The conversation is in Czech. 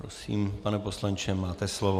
Prosím, pane poslanče, máte slovo.